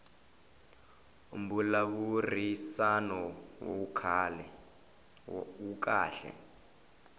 mbulavurisano wu kahle